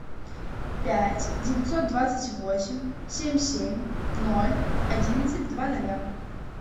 пять девятьсот двадцать восемь семь семь ноль одиннадцать два ноля